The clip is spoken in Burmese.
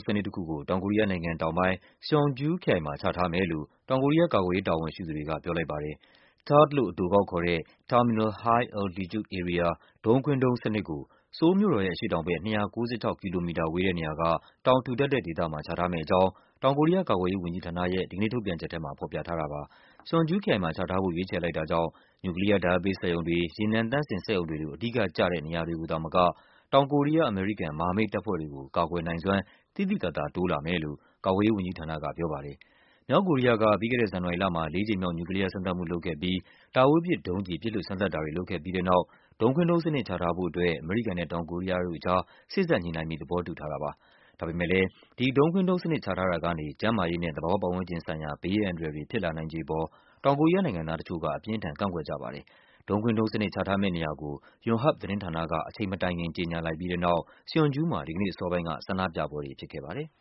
စနစ်တခုကို တောင်ကိုရီးယားနိုင်ငံတောင်ပိုင်း၊ Seongju ခရိုင်မှာ ချထားမယ်လို့ တောင်ကိုရီးယား ကာကွယ်ရေး တာဝန်ရှိသူတွေ က ပြောလိုက်ပါတယ်။ THAAD လို့အတိုကောက်ခေါ်တဲ့ Terminal High-Altitude Area ဒုံးခွင်းဒုံးစနစ်ကို ဆိုးလ်မြို့တော်ရဲ့ အရှေ့တောင်ဘက် ၂၉၆ ကီလိုမီတာဝေးတဲ့နေရာ က တောင်ထူထပ် တဲ့ဒေသမှာ ချထားမယ့် အကြောင်း တောင်ကိုရီးယား ကာကွယ်ရေးဝန်ကြီးဌာနရဲ့ ဒီကနေ့ ထုတ်ပြန်ချက် ထဲမှာ ဖော်ပြထားတာပါ။ Seongju ခရိုင်မှာ ချထားဖို့ ရွေးချယ်လိုက်တာကြောင့် နျူကလီးယား ဓာတ်အားပေးစက်ရုံတွေ၊ ရေနံသန့်စင်စက်ရုံတွေလို အဓိက ကျတဲ့နေရာတွေ ကိုသာမက တောင်ကိုရီးယား-အမေရိကန် မဟာမိတ်တပ်ဖွဲ့တွေကို ကာကွယ်နိုင်စွမ်း သိသိသာသာ တိုးလာမယ် လို့ ကာကွယ်ရေး ဝန်ကြီးဌာန က ပြောပါတယ်။ မြောက်ကိုရီးယားက ပြီးခဲ့တဲ့ ဇန်နဝါရီလမှာ လေးကြိမ်မြောက် နျူကလီးယား စမ်းသပ်မှု လုပ်ခဲ့ပြီး တာဝေးပစ်ဒုံးကျည် ပစ်လွှတ် စမ်းသပ်တာတွေ လုပ်ခဲ့ပြီးတဲ့နောက် ဒုံးခွင်းဒုံးစနစ်ချထားဖို့အတွက် အမေရိကန်နဲ့ တောင်ကိုရီးယား တို့ကြား စေ့စပ်ညှိနှိုင်းပြီး သဘောတူခဲ့ကြတာပါ။ ဒါပေမဲ့လည်း ဒုံးခွင်းဒုံးစနစ်ချထားတာကနေ ကျန်းမာရေးနဲ့ သဘာဝပတ်ဝန်းကျင် ဆိုင်ရာ ဘေးအန္တရာယ်တွေ ဖြစ်လာနိုင်ခြေ အပေါ် တောင်ကိုရီးယားနိုင်ငံသား တချို့က အပြင်းအထန့်ကန့်ကွက်ကြပါတယ်။ ဒုံးခွင်းဒုံးစနစ်ချထားမယ့်နေရာကို ယွန်ဟပ် သတင်းဌာနက အချိန်မတိုင်ခင် ကြေညာလိုက်ပြီးတဲ့နောက် Seongju မှာ ဒီကနေ့အစောပိုင်းက ဆန္ဒပြပွဲတွေဖြစ်ခဲ့ပါတယ်။